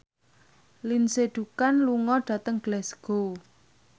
Lindsay Ducan lunga dhateng Glasgow